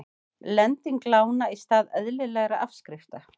Lenging lána í stað eðlilegra afskrifta